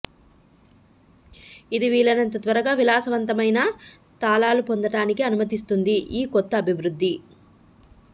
ఇది వీలైనంత త్వరగా విలాసవంతమైన తాళాలు పొందడానికి అనుమతిస్తుంది ఈ కొత్త అభివృద్ధి